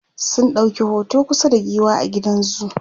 sun ɗauki hoto kusa da giwa a gidan zoo